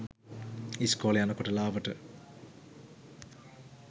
ඉස්කෝලෙ යනකොට ලාවට